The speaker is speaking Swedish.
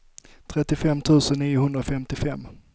trettiofem tusen niohundrafemtiofem